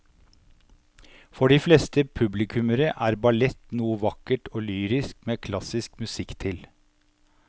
For de fleste publikummere er ballett noe vakkert og lyrisk med klassisk musikk til.